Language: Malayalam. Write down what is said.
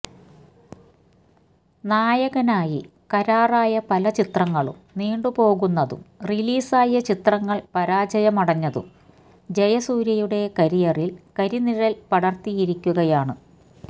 നായകനായി കരാറായ പല ചിത്രങ്ങളും നീണ്ടുപോകുന്നതും റിലീസായ ചിത്രങ്ങൾ പരാജയമടഞ്ഞതും ജയസൂര്യയുടെ കരിയറിൽ കരിനിഴൽ പടർത്തിയിരിക്കുകയാണ്